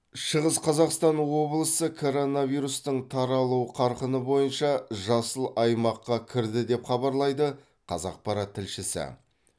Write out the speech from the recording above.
шығыс қазақстан облысы коронавирустың таралу қарқыны бойыша жасыл аймаққа кірді деп хабарлайды қазақпарат тілшісі